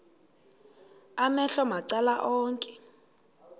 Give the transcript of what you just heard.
amehlo macala onke